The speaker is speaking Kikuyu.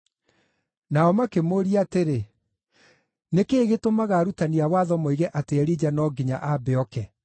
Nao makĩmũũria atĩrĩ, “Nĩ kĩĩ gĩtũmaga arutani a watho moige atĩ Elija no nginya ambe ooke?”